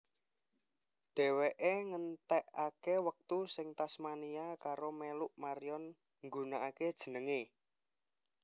Deweke ngentekeke wektu ing Tasmania karo teluk Marion nggunakake jenenge